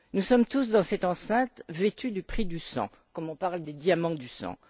Nous sommes tous, dans cette enceinte, vêtus du prix du sang, comme on parle des diamants du sang.